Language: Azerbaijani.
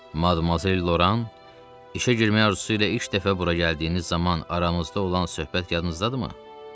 Madmazel Loran, işə girməyə razılıq ilə ilk dəfə bura gəldiyiniz zaman aramızda olan söhbət yadınızdadırmı?